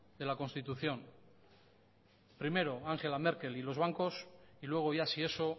de la constitución primero ángela merkel y los bancos y luego ya si eso